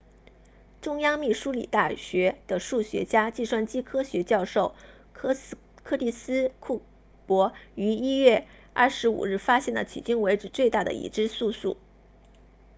中央密苏里大学 university of central missouri 的数学家计算机科学教授柯蒂斯库珀 curtis cooper 于1月25日发现了迄今为止最大的已知素数